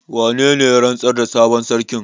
Wane ne ya rantsar da sabon sarkin?